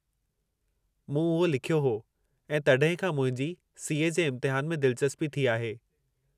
मूं उहो लिखियो हो ऐं तॾहिं खां मुंहिंजी सी. ए. जे इम्तहान में दिलचस्पी थी आहे।